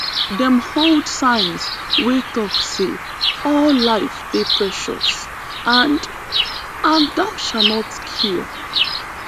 dem hold signs wey tok say all life dey precious and and thou shalt not kill